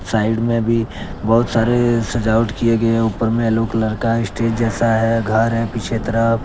Side में भी बहुत सारे सजावट किए गए हैं ऊपर में यलो कलर का स्टेज जैसा है घर है पीछे तरफ।